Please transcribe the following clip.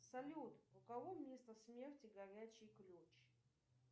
салют у кого место смерти горячий ключ